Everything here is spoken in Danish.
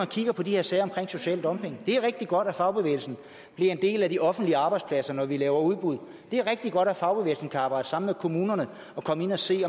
de her sager om social dumping det er rigtig godt at fagbevægelsen bliver en del af de offentlige arbejdspladser når vi laver udbud det er rigtig godt at fagbevægelsen kan arbejde sammen med kommunerne og komme ind og se